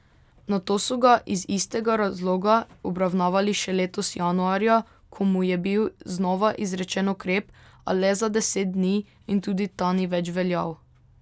Nato so ga iz istega razloga obravnavali še letos januarja, ko mu je bil znova izrečen ukrep, a le za deset dni in tudi ta ni več veljal.